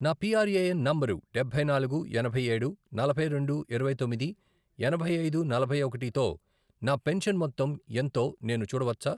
నా PRAN number డబ్బై నాలుగు, ఎనభై ఏడు, నలభై రెండు, ఇరవై తొమ్మిది, ఎనభై ఐదు, నలభై ఒకటి, తో నా పెన్షన్ మొత్తం ఎంతో నేను చూడవచ్చా?